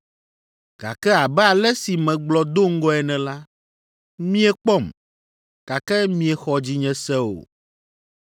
Gake abe ale si megblɔ do ŋgɔe ene la, miekpɔm, gake miexɔ dzinye se o.